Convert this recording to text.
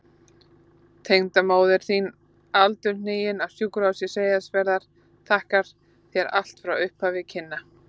Tengdamóðir þín aldurhnigin, á Sjúkrahúsi Seyðisfjarðar, þakkar þér allt frá upphafi kynna.